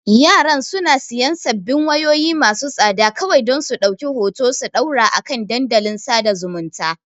Yaran suna siyan sabbin wayoyi masu tsada kawai don su ɗauki hoto su ɗora a kan dandalin sada zumunta.